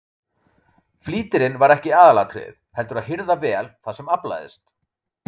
Flýtirinn var ekki aðalatriðið heldur að hirða vel það sem aflaðist.